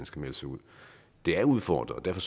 skal melde sig ud det er udfordret og derfor